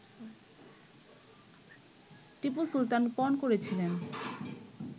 টিপু সুলতান পণ করেছিলেন